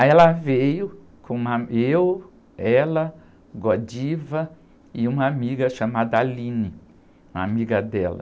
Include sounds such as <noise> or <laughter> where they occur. Aí ela veio com uma, <unintelligible> eu, ela, <unintelligible> e uma amiga chamada, <unintelligible> uma amiga dela.